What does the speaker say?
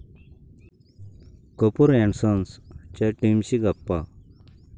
Kapoor and सन्स'च्या टीमशी गप्पा